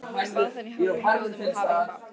Bað hana í hálfum hljóðum að hafa ekki hátt.